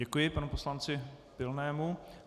Děkuji panu poslanci Pilnému.